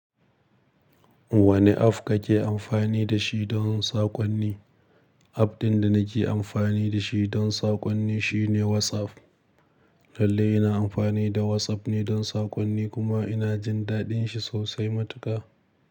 Wane app kake amfani da shi don saƙonni? App ɗin da nake amfani da shi don saƙonni shine WhatsApp. Lallai ina amfani da WhatsApp ne don saƙonni kuma ina jin daɗin shi sosai matuƙa.